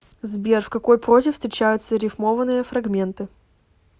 сбер в какой прозе встречаются рифмованные фрагменты